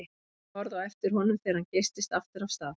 Þau horfðu á eftir honum þegar hann geystist aftur af stað.